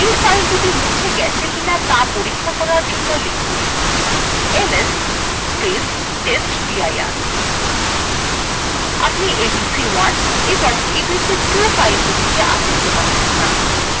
you ফাইলদুটি মুছে গেছে কিনা ত়া পরীক্ষা করার জন্য লিখুন ls testdir আপনি abc1 এবং abc2 ফাইলদুটিকে আর দেখতে পাবেন no